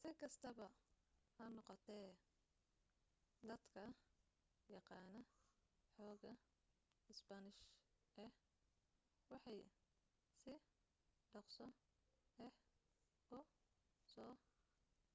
si kastaba ha noqotee dadka yaqaana xoogaa isbaanish ah waxay si dhaqso ah u soo